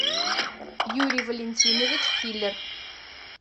юрий валентинович киллер